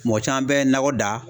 Mɔgɔ caman bɛ nakɔ da